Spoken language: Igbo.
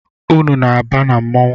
Unu na-aba na mmanwụ?